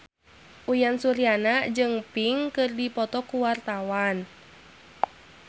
Uyan Suryana jeung Pink keur dipoto ku wartawan